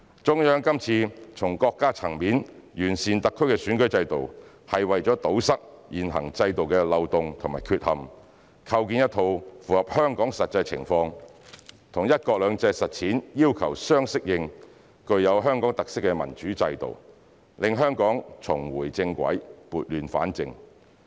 中央今次從國家層面完善特區選舉制度，是為了堵塞現行制度的漏洞和缺陷，構建一套符合香港實際情況、與"一國兩制"實踐要求相適應、具有香港特色的民主制度，讓香港重回正軌、撥亂反正。